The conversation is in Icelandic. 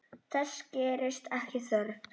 Þess gerist ekki þörf.